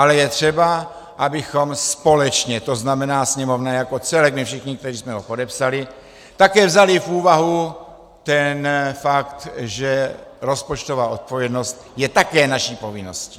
Ale je třeba, abychom společně, to znamená Sněmovna jako celek, my všichni, kteří jsme to podepsali, také vzali v úvahu ten fakt, že rozpočtová odpovědnost je také naší povinností.